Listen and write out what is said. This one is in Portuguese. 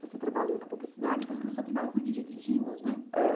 Você trabalhou na publicidade e depois começou a trabalhar com jingles, né? é.